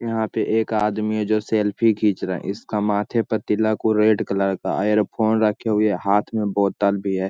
यहाँ पे एक आदमी जो सेल्फी खींच रहा है इसका माथे पे तिलक उ रेड कलर का इयरफोन रखे हुए है हाथ में बोतल भी है।